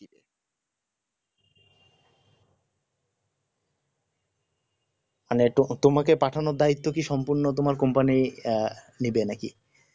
মানে এইটো তোমাকে পাঠানোর দায়িত্ব কি সম্পূর্ণ তোমার company আহ নিবে নাকি